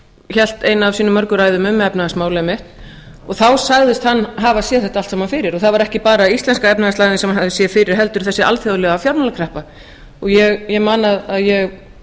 hélt eina af sínum mörgu ræðum um efnahagsmál einmitt og þá sagðist hann hafa séð þetta allt saman fyrir það var ekki bara íslenska efnahagslægðin sem hann hafði séð fyrir heldur þessi alþjóðlega fjármálakreppa og ég man að ég